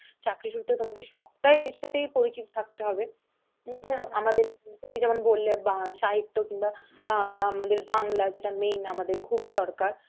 চাকরি সুত্রে তোমকে সবটাই এর সাথেই পরিচিত থকতে হবে, নতুবা আমাদের তুমি যেমন বললে বা সাহিত্য কিংবা বা~ আমাদের বাংলা যেটা main আমাদের খুবই দরকার